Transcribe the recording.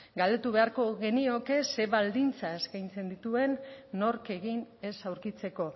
galdetu beharko genioke zein baldintza eskaintzen dituen nork egin ez aurkitzeko